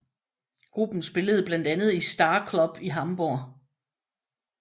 Gruppen spillede blandt andet i Star Club i Hamburg